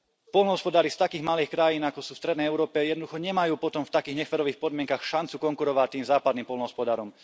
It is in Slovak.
Poľnohospodári z takých malých krajín, ako sú v strednej Európe, jednoducho nemajú potom v takých neférových podmienkach šancu konkurovať tým západným poľnohospodárom.